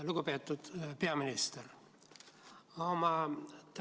Lugupeetud peaminister!